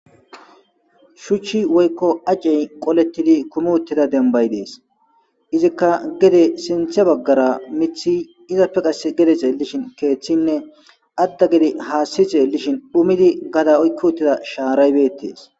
shuchchi woykko acey qolettidi kumi uttida denbay dees izikka gede sinthe baggara mithi izapfe qase gedese lishin keeththinne adda gede haassize lishin dhumidi gada oykki uttida shaaraybetees